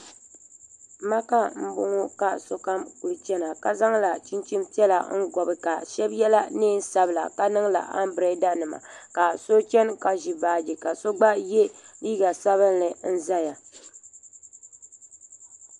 Maka m boŋɔ ka sokam kuli chena ka zaŋla chinchini piɛla n gobi ka sheba yela niɛn'sabla ka niŋla ambrada nima ka so chena ka ʒi baaji ka so gba ye liiga sabinli n zaya.